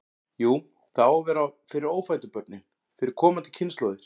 Jú, það á að vera fyrir ófæddu börnin, fyrir komandi kynslóðir.